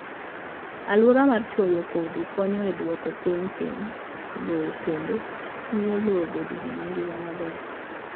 Alwora mar chwoyo kodhi konyo e duoko piny piny lowo kendo miyo lowo obed gi ngima maber.